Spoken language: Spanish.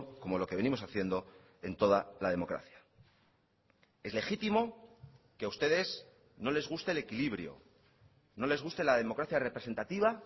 como lo que venimos haciendo en toda la democracia es legítimo que a ustedes no les guste el equilibrio no les guste la democracia representativa